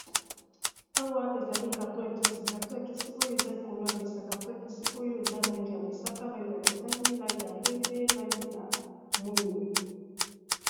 Awa ezali kartoon ya kisi karton ya kisi oyo eza likolo yamesa karton ya kisi oyo eza langi ya mosaka langi ya motani langi ya pembe langi ya mwindo.